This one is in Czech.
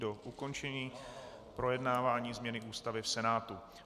Do ukončení projednávání změny Ústavy v Senátu.